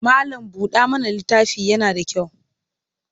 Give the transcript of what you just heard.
Mallam-buɗa-mana littafi yana da kyau.